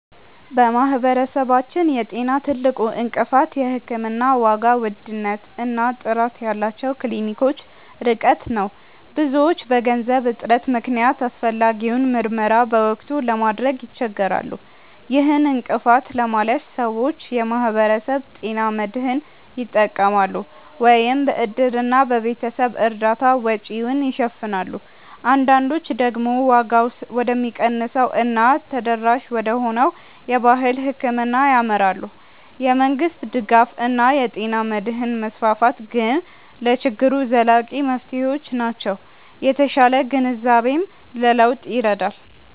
በማህበረሰባችን የጤና ትልቁ እንቅፋት የሕክምና ዋጋ ውድነት እና ጥራት ያላቸው ክሊኒኮች ርቀት ነው። ብዙዎች በገንዘብ እጥረት ምክንያት አስፈላጊውን ምርመራ በወቅቱ ለማድረግ ይቸገራሉ። ይህን እንቅፋት ለማለፍ ሰዎች የማህበረሰብ ጤና መድህን ይጠቀማሉ፤ ወይም በእድርና በቤተሰብ እርዳታ ወጪውን ይሸፍናሉ። አንዳንዶች ደግሞ ዋጋው ወደሚቀንሰው እና ተደራሽ ወደሆነው የባህል ሕክምና ያመራሉ። የመንግስት ድጋፍ እና የጤና መድህን መስፋፋት ግን ለችግሩ ዘላቂ መፍትሄዎች ናቸው። የተሻለ ግንዛቤም ለለውጥ ይረዳል።